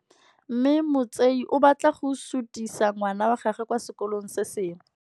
Mme Motsei o batla go sutisa ngwana wa gagwe kwa sekolong se sengwe.